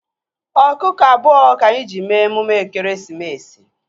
Ọkụkọ abụọ ka anyị ji mee emume ekeresimesi